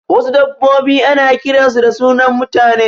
Wasu dabbobi ana kiran su da sunan mutane